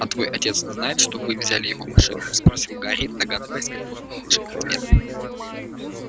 а твой отец знает что вы взяли его машину спросил гарри догадываясь какой услышит ответ